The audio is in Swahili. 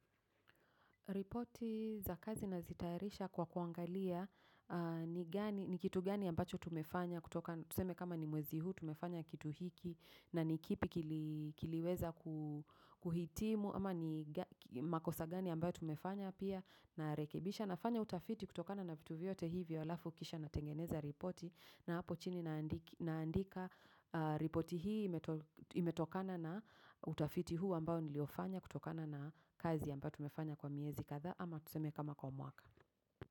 Ripoti za kazi na zitaarisha kwa kuangalia ni kitu gani ambacho tumefanya kutoka kama ni mwezi huu tumefanya kitu hiki na nikipi kiliweza kuhitimu ama ni makosa gani ambayo tumefanya pia na yarekebisha na fanya utafiti kutokana na vituviote hivyo alafu kisha na tengeneza ripoti na hapo chini naandika ripoti hii imetokana na utafiti huu ambayo niliofanya kutokana na kazi ambayo tumefanya kwa miezi. Kadha ama tuseme kama kwa mwaka.